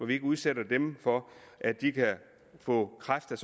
vi ikke udsætter dem for at de kan få kræft af